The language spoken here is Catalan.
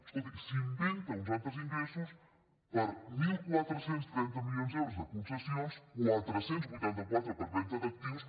escolti s’inventa uns altres ingressos per catorze trenta milions d’euros de concessions quatre cents i vuitanta quatre per venda d’actius